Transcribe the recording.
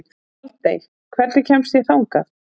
Baldey, hvernig kemst ég þangað?